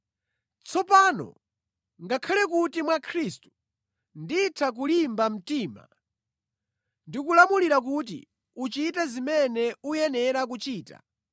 Tsopano ngakhale kuti mwa Khristu nditha kulimba mtima ndi kulamulira kuti uchite zimene uyenera kuchita,